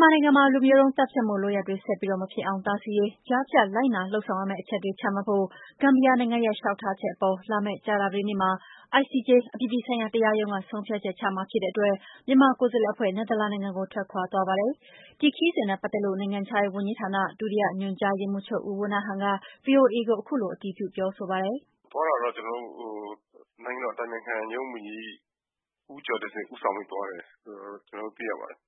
မာနိုင်ငံမှာ လူမျိုးတုံးသတ်ဖြတ်မှု လုပ်ရပ်တွေ ဆက်ပြီး မဖြစ်အောင် တားဆီးရေး ကြားဖြတ်လိုက်နာ လုပ်ဆောင်ရမယ့် အချက်တွေ ချမှတ်ဖို့ ဂမ်ဘီယာနိုင်ငံရဲ့ လျှောက်ထားချက်အပေါ် လာမယ့် ကြာသာပတေးနေ့မှာ ICJ အပြည်ပြည် ဆိုင်ရာ တရားရုံးက ဆုံးဖြတ်ချက်ချမှာဖြစ်တဲ့အတွက် မြန်မာကိုယ်စားလှယ် အဖွဲ့ နယ်သာလန်နိုင်ငံကို ထွက်ခွာသွားပါတယ်။ ဒီခရီးစဉ်နဲ့ပတ်သက်လို့ နိုင်ငံခြားရေး ဝန်ကြီးဌာန ဒုတိယ ညွှန်ကြားရေးမှုးချုပ် ဦးဝဏ္ဏဟန်က VOA ကို ခုလို အတည်ပြုပြောဆိုပါတယ်။ “သွားတာကတော့ ကျနော်တို့ နိုင်ငံတော်အတိုင်ပင်ခံရုံး ဝန်ကြီး ဦးကျော်တင့်ဆွေ ဦးဆောင်ပြီးသွားတယ်လို့တော့ ကျနော်တို့သိရပါတယ်”